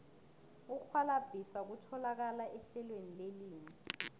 ukurhwalabhisa kutholakala ehlelweni lelimi